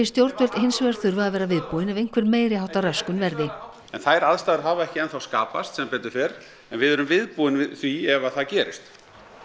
stjórnvöld hins vegar þurfa að vera viðbúin ef einhver meiri háttar röskun verði en þær aðstæður hafa ekki enn þá skapast sem betur fer en við erum viðbúin því ef að það gerist